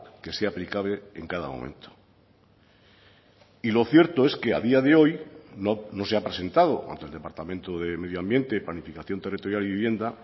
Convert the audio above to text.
que se ha aplicable en cada momento y lo cierto es que a día de hoy no se ha presentado ante el departamento de medio ambiente planificación territorial y vivienda